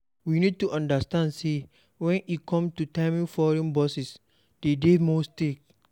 We need to understand sey when e come to timing foreign bosses de dey more strict